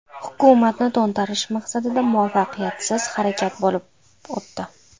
Hukumatni to‘ntarish maqsadida muvaffaqiyatsiz harakat bo‘lib o‘tdi .